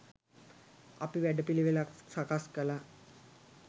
අපි වැඩපිළිවෙළක් සකස් කලා.